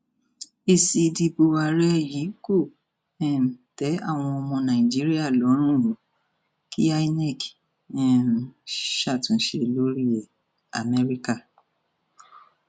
èsì ìdìbò àárẹ yìí kò um tẹ àwọn ọmọ nàìjíríà lọrùn o kí imac um ṣàtúnṣe lórí ẹ amẹríkà